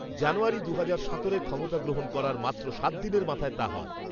জানুয়ারি দুহজার সতেরোয় ক্ষমতা গ্রহণ করার মাত্র সাতদিনের মাথায় তা হয়